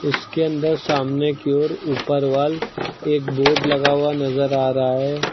इ सके अंदर सामने की ओर ऊपर वॉल एक बोर्ड लगा हुआ नजर आ रहा है।